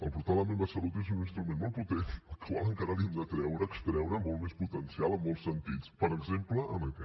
el portal la meva salut és un instrument molt potent al qual encara hem de treure extreure molt més potencial en molts sentits per exemple en aquest